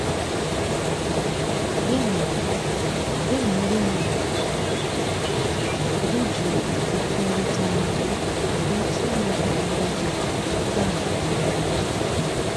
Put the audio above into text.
Gị na Gị na ndị nwe ala iji ùgwù kwekorita ọnụ nwere ike ime ka ọrụ gị ga nke ọma n'oge